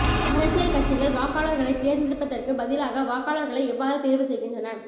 அரசியல் கட்சிகள் வாக்காளர்களைத் தேர்ந்தெடுப்பதற்கு பதிலாக வாக்காளர்களை எவ்வாறு தேர்வு செய்கின்றன